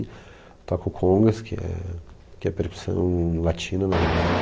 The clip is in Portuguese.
Eu toco congas, que é que é percussão latina, na verdade.